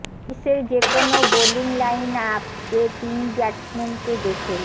বিশ্বের যে কোনও বোলিং লাইন আপ যে তিন ব্যাটসম্যানকে দেখেই